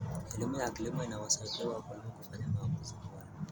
Elimu ya kilimo inawasaidia wakulima kufanya maamuzi bora.